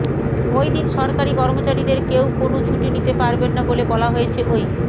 ওই দিন সরকারি কর্মচারীদের কেউ কোনও ছুটি নিতে পারবেন না বলে বলা হয়েছে ওই